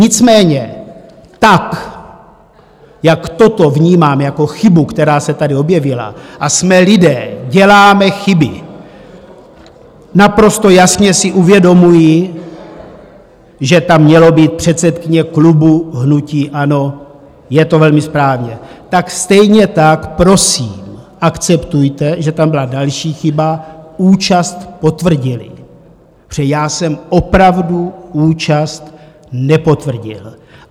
Nicméně tak jak toto vnímám jako chybu, která se tady objevila, a jsme lidé, děláme chyby, naprosto jasně si uvědomuji, že tam mělo být předsedkyně klubu hnutí ANO, je to velmi správně, tak stejně tak prosím, akceptujte, že tam byla další chyba - účast potvrdili, protože já jsem opravdu účast nepotvrdil.